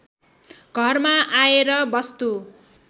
घरमा आएर वस्तु